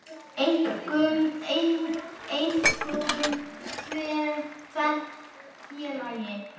Einkum tvennt, félagi.